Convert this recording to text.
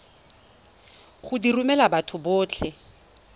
go di romela batho botlhe